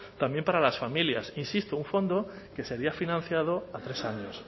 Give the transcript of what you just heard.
también para las familias insisto un fondo que sería financiado a tres años